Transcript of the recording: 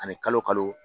Ani kalo kalo